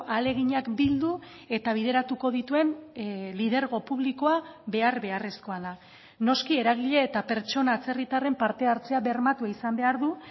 ahaleginak bildu eta bideratuko dituen lidergo publikoa behar beharrezkoa da noski eragile eta pertsona atzerritarren parte hartzea bermatua izan behar du